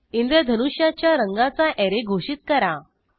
इंद्रधनुष्याच्या रंगाचा ऍरे घोषित करा